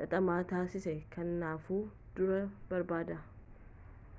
xaxamaa taasisa kanaafuu dura barbaadaa